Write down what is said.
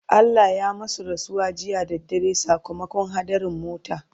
Allah ya masu rasuwa jiya da dare sakamakon haɗarin mota